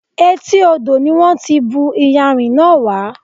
Etí odò ni wọn ti bù iyanrìn náà wá.